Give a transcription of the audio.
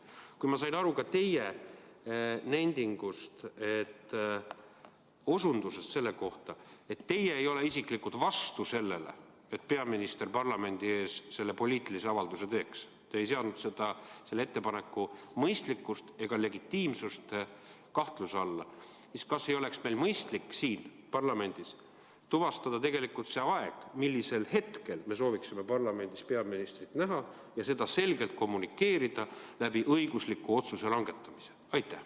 Kui ma sain aru ka teie nendingust selle kohta, et teie ei ole isiklikult vastu sellele, et peaminister parlamendi ees selle poliitilise avalduse teeks, te ei seadnud selle ettepaneku mõistlikkust ega legitiimsust kahtluse alla, siis kas ei oleks meil mõistlik siin parlamendis tuvastada see aeg, millal me sooviksime parlamendis peaministrit näha, ja seda selgelt kommunikeerida õigusliku otsuse langetamise kaudu?